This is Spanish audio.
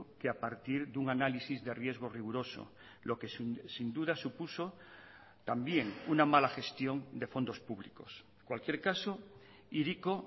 que a partir de un análisis de riesgo riguroso lo que sin duda supuso también una mala gestión de fondos públicos en cualquier caso hiriko